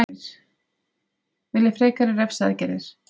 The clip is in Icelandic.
Vill frekari refsiaðgerðir